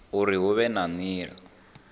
uri hu vhe na nila